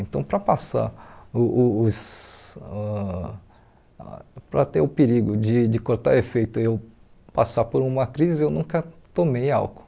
Então, para passar o o os ãh para ter o perigo de de cortar efeito e eu passar por uma crise, eu nunca tomei álcool.